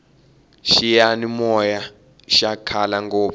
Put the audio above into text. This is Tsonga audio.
xiyani moya xa khale ngopfu